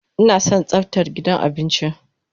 Ina son tsaftar gidan abinci.